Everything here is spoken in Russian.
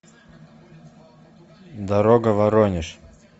дорога воронеж